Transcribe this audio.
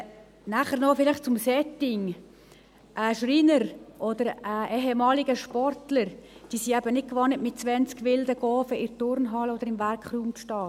Dann noch etwas zum Setting: Ein Schreiner oder ein ehemaliger Sportler ist es nicht gewohnt, mit zwanzig wilden Kindern in der Turnhalle oder im Werkraum zu stehen.